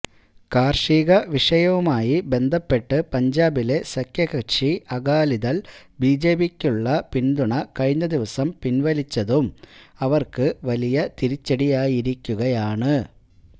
കാര്ഷിക വിഷയവുമായി ബന്ധപ്പെട്ട് പഞ്ചാബിലെ സഖ്യകക്ഷി അകാലിദള് ബിജെപിയ്ക്കുള്ള പിന്തുണ കഴിഞ്ഞദിവസം പിന്വലിച്ചതും അവര്ക്ക് വലിയ തിരിച്ചടിയായിരിക്കുകയാണ്